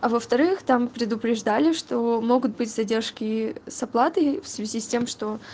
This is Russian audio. а во-вторых там предупреждали что могут быть задержки с оплатой в связи с тем что